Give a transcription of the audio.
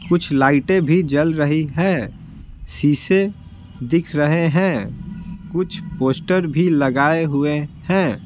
कुछ लाइटें भी जल रही है शीशे दिख रहे हैं कुछ पोस्टर भी लगाए हुए हैं।